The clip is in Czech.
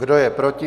Kdo je proti?